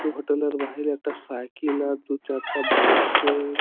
এই হোটেলের বাহিরে একটা সাইকেল আর দু চারটে বাইক কে --